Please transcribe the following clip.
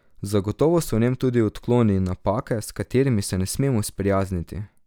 Zagotovo so v njem tudi odkloni in napake, s katerimi se ne smemo sprijazniti.